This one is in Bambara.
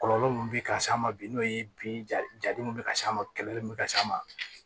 Kɔlɔlɔ min bɛ ka s'a ma bi n'o ye bi jadenw bɛ ka s'a ma kɛlɛli min bɛ ka s'a ma